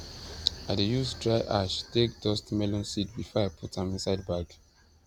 i dey use dry ash take dustmelon seed before i put am inside bag